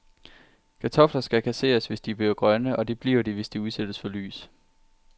Kartofler skal kasseres, hvis de bliver grønne, og det bliver de, hvis de udsættes for lys.